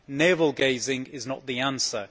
Navel gazing is not the answer.